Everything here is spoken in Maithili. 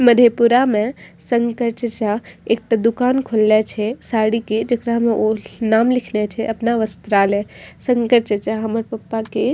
मधेपुरा में शंकर चाचा एकटा दुकान खोलला छै साड़ी के जेकरा में ओ नाम लिखने छै अपना वस्त्रालय शंकर चाचा हमर पापा के --